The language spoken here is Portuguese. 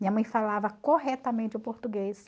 Minha mãe falava corretamente o português.